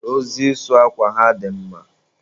Ozi ịsụ akwa ha dị mma.